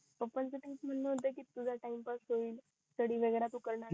पप्पा चा कास म्हण होत कि तुझा टाईमपास होईल स्टडी वैगेरे तू करणार नाही